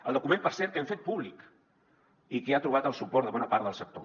el document per cert que hem fet públic i que ha trobat el suport de bona part del sector